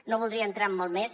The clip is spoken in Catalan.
no voldria entrar en molt més